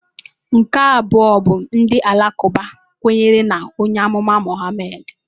Nke abụọ bụ ndị Alakụba bụ kwenyere na onye amụma Mohammed.